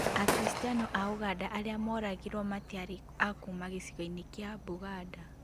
Akiristiano a ũganda arĩa moragirwo matiarĩ akuma gĩcigo-inĩ kĩa Buganda